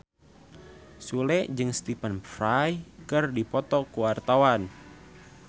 Sule jeung Stephen Fry keur dipoto ku wartawan